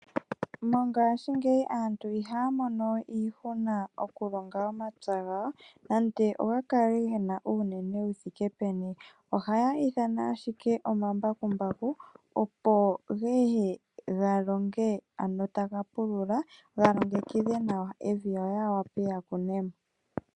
Mongaashingeyi aantu ihaya mono we iihuna oku longa omapya gawo nande oga kale gena uunene wu thike peni, ohaya ithana ashike omambakumbaku opo geye ga longe ano taga pulula ga longekidhe nawa evi yo ya wape ya kune mo.